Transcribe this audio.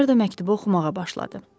Makmerd məktubu oxumağa başladı.